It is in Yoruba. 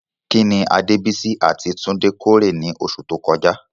Kí ni Adebisi àti Tunde kórè ní oṣù tó kọjá?